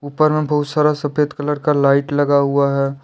ऊपर में बहुत सारा सफेद कलर का लाइट लगा हुआ है।